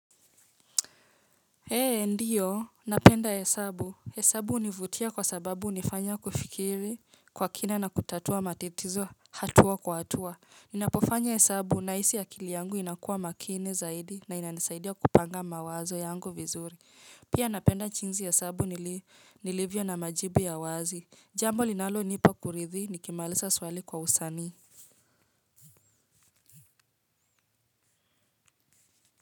Ee, ndio napenda hesabu. Hesabu hunivutia kwa sababu hunifanya kufikiri kwa kina na kutatua matatizo hatua kwa hatua. Ninapofanya hesabu nahisi akili yangu inakua makini zaidi na inanisaidia kupanga mawazo yangu vizuri. Pia napenda jinsi hesabu nilivyo na majibu ya wazi, jambo linalonipa kuridhi nikimaliza swali kwa usanii.